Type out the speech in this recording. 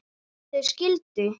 Þau skildu.